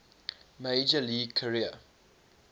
major league career